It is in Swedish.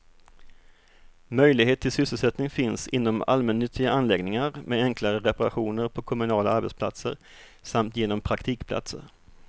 Möjlighet till sysselsättning finns inom allmännyttiga anläggningar, med enklare reparationer på kommunala arbetsplatser samt genom praktikplatser.